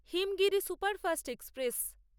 Himgiri superfast express